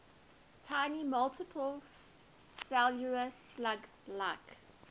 tiny multicellular slug like